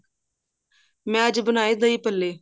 ਮੈਂ ਅੱਜ ਬਣਾਏ ਦਹੀਂ ਭੱਲੇ